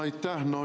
Aitäh!